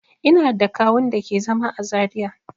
Ina da kawu'n da ke zama à Zaria.